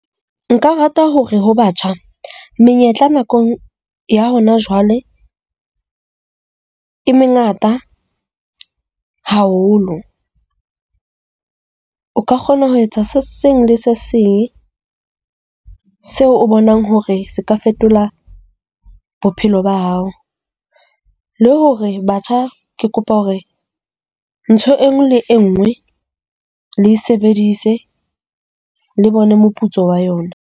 Nka rata hore ho batjha, menyetla nako ya hona jwale e mengata haholo. O ka kgona ho etsa se seng le se seng seo o bonang hore seka fetola bophelo ba hao le hore batjha ke kopa hore ntho e nngwe le e nngwe le sebedise le bone moputso wa yona.